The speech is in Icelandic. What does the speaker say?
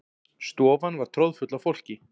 Stofan var troðfull af fólki.